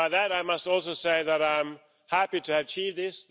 I must also say that I'm happy to achieve this.